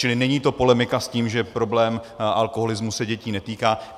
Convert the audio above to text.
Čili není to polemika s tím, že problém alkoholismu se dětí netýká.